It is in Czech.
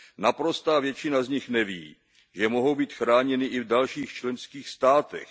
Naprostá většina z nich neví, že mohou být chráněny i v dalších členských státech.